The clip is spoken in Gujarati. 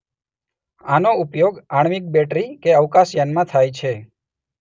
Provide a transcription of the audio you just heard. આનો ઉપયોગ આણ્વિક બેટરી કે અવકાશયાનમાં થાય છે.